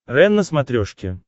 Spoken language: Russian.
рен на смотрешке